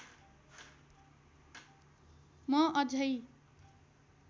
म अझै